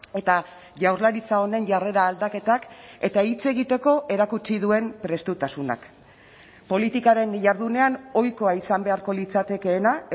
eta jaurlaritza honen jarrera aldaketak eta hitz egiteko erakutsi duen prestutasunak politikaren jardunean ohikoa izan beharko litzatekeena